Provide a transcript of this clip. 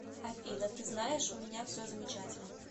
афина ты знаешь у меня все замечательно